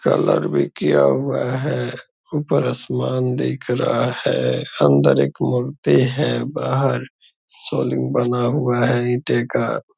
Colour भी किया हुआ है। ऊपर आसमान दिख रहा है। अंदर एक मूर्ति है। बाहर सोलिंग बना हुआ है इटे का।